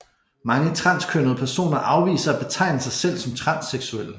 Mange transkønnede personer afviser at betegne sig selv som transseksuelle